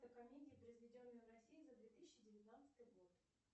комедии произведенные в россии за две тысячи девятнадцатый год